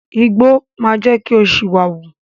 Igbó máa jẹ́ kí ó ṣìwà wù.